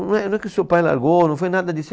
Não é, não é que o seu pai largou, não foi nada disso.